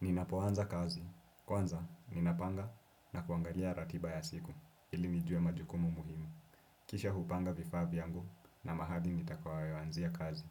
Ninapoanza kazi. Kwanza, ninapanga na kuangalia ratiba ya siku ili nijue majukumu muhimu. Kisha hupanga vifaa vyangu na mahali nitakawawawanzia kazi.